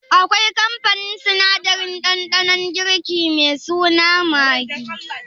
Akwai kamfanin sinadarin ɗanɗanon girki me suna Maggi?